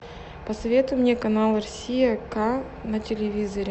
посоветуй мне канал россия к на телевизоре